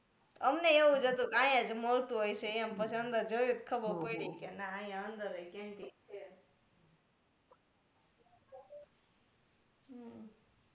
અમને એ એવું જ હતું કે આઇયા જ મલતુ હશે એમ પછી અંદર જોયું તો ખબર પડી કે ના અહીંયા અંદર એ canteen છે